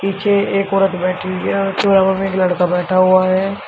पीछे एक औरत बैठी हुई है और उसके बगल मे एक लड़का बैठा हुआ है।